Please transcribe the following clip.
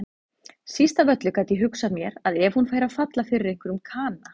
Síst af öllu gat ég hugsað mér að hún færi að falla fyrir einhverjum kana.